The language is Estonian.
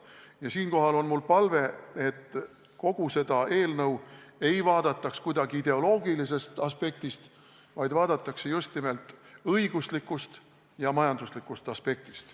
Ja siinkohal on mul palve, et kogu seda eelnõu ei vaadataks kuidagi ideoloogilisest aspektist, vaid vaadataks just nimelt õiguslikust ja majanduslikust aspektist.